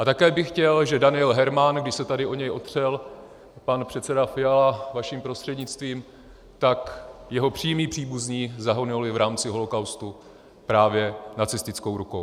A také bych chtěl, že Daniel Hermann, když se tady o něj opřel pan předseda Fiala vaším prostřednictvím, tak jeho přímí příbuzní zahynuli v rámci holocaustu právě nacistickou rukou.